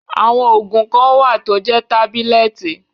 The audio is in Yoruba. Àwọn òògùn kan wà tó jẹ́ tábílẹ̀tì.